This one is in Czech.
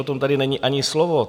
O tom tady není ani slovo.